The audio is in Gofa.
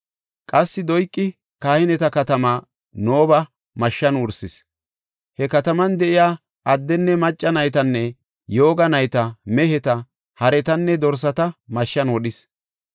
Qassi Doyqi kahineta katamaa, Nooba mashshan wursis; he kataman de7iya addenne macca, naytanne yooga nayta, meheta, haretanne dorsata mashshan wodhis.